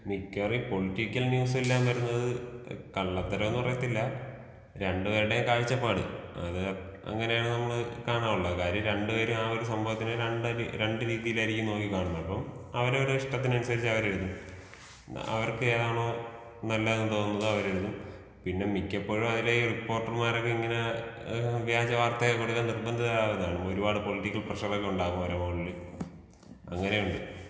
മിക്കവാറും ഈ പൊളിറ്റിക്കൽ ന്യൂസെല്ലാം വരുന്നത് കള്ളത്തരമെന്ന് പറയത്തില്ല രണ്ട് പേരുടെയും കാഴ്ചപ്പാട് അത് അങ്ങനെയാണ് നമ്മള് കാണാനുള്ളത് കാര്യം രണ്ട് പേരും ആ ഒരു സംഭവത്തിനെ രണ്ട് രീതീലായിരിക്കും നോക്കി കാണുന്നത് ഇപ്പം അവരവരെ ഇഷ്ടത്തിന് അനുസരിച്ച് അവര് എഴുതും അവർക്കേതാണോ നല്ലതെന്ന് തോന്നുന്നത് അവര് എഴുതും പിന്നെ മിക്കപ്പോഴും അവരുടെ റിപ്പോർട്ടര്മാര് ഇങ്ങനെ വ്യാജ വാർത്ത കൊടുക്കാൻ നിർബന്ധിരാവാണ് ഒരുപാട് പൊളിറ്റിക്കൽ പ്രഷറൊക്കെ ഉണ്ടാവും അവരുടെ മോളില് അങ്ങനെയുണ്ട്